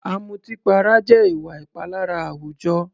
Ọ̀mùtípara jẹ́ ìwà ìpalára àwùjọ.